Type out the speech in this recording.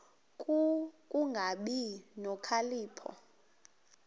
ku kungabi nokhalipho